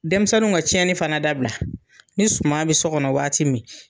Denmisɛnnu ka cɛnni fana dabila ni suman bi so kɔnɔ waati min